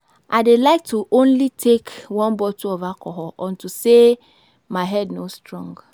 I dey like to only take one bottle of alcohol unto say my head no strong